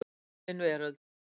Dulin Veröld.